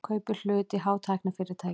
Kaupir hlut í hátæknifyrirtæki